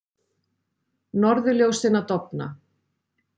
Norðurljósin að dofna